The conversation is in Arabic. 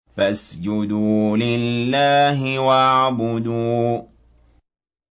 فَاسْجُدُوا لِلَّهِ وَاعْبُدُوا ۩